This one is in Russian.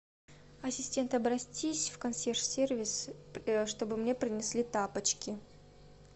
ассистент обратись в консьерж сервис чтобы мне принесли тапочки